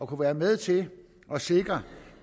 kunne være med til at sikre